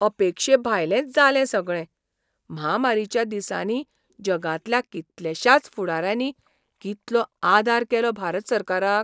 अपेक्षेभायलेंच जालें सगळें. म्हामारीच्या दिसांनी जगांतल्या कितलेशाच फुडाऱ्यांनी कितलो आदार केलो भारत सरकाराक.